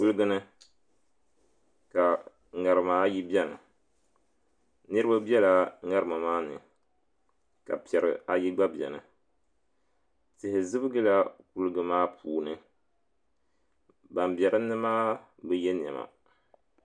Kuligi ni ka ŋarima ayi biɛni niraba biɛla ŋarima maa ni ka piɛri ayi gba biɛni tihi zibigila kuligi maa puuni ban bɛ dinni maa bi yɛ niɛma